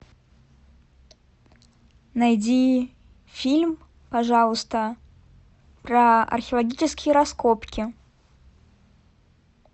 найди фильм пожалуйста про археологические раскопки